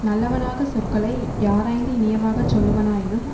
நல்லவனாக சொற்களை யாராய்ந்து இனியவாகச் சொல்லுவனாயினும்